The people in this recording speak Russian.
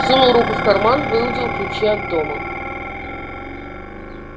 сунул руку в карман выудил ключи от дома